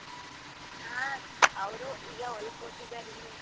ಆ ಅವ್ರು ಇಲ್ಲ ಹೊಲಕ್ ಹೋಗಿದಾರ್ ಇನ್ನೂ.